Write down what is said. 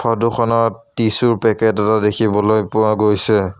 Photo খনত tissue ৰ packet এটা দেখিবলৈ পোৱা গৈছে।